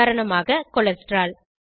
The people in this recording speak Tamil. உதாரணமாக கொலஸ்ட்ரால்